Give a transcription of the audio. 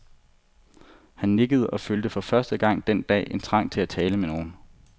Han nikkede og følte for første gang den dag en trang til at tale med nogen.